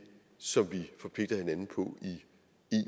som vi forpligter hinanden på i